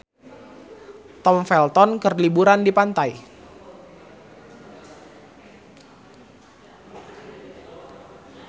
Tom Felton keur liburan di pantai